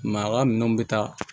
Maa ka minɛnw bɛ taa